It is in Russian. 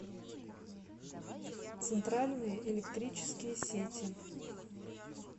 центральные электрические сети